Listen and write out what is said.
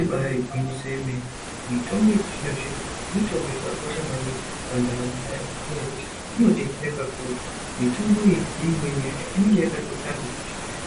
Ibari gwinyiso yemene mitombo yechizvino-zvino mitombo yakakosha maningi pandaramo yeantu. Ngenyaya yekuti inobetsera kakurutu mitombo iyi neimweni yacho inenge yakatotarwa